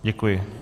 Děkuji.